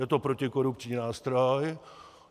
Je to protikorupční nástroj.